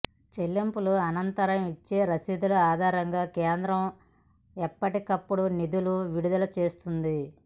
చెల్లింపుల అనంతరం ఇచ్చే రశీదుల ఆధారంగా కేంద్రం ఎప్పటికప్పుడు నిధులు విడుదలచేస్తుంది